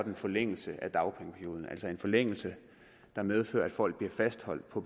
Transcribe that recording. en forlængelse af dagpengeperioden altså en forlængelse der medfører at folk bliver fastholdt på